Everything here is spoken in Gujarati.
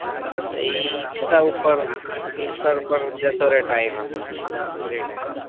બસ એજ insta ઉપર insta ઉપર જતો રહે time આપડો રીટર્ન